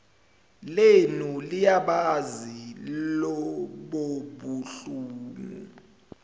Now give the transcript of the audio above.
lenu liyabazi lobobuhlungu